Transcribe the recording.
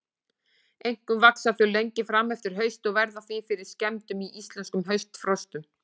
Einkum vaxa þau lengi fram eftir hausti og verða því fyrir skemmdum í íslenskum haustfrostum.